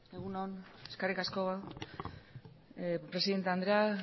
egun on eskerrik asko presidente andrea